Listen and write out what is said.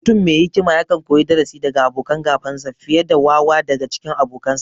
Mutum me hikima yakan koyi darasi daga abokan gabansa, fiye da wawa daga cikin abokansa.